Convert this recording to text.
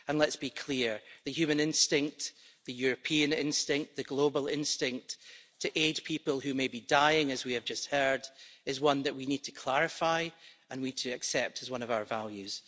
And let's be clear the human instinct, the European instinct, the global instinct to aid people who may be dying, as we have just heard, is one that we need to clarify and we need to accept as one of our values.